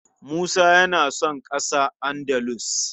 Musa yana son ƙasa Andalus.